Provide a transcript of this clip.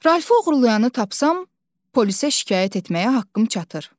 Ralfı oğurlayanı tapsam, polisə şikayət etməyə haqqım çatır.